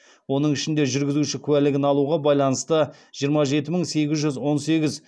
оның ішінде жүргізуші куәлігін алуға байланысты жиырма жеті мың сегіз жүз он сегіз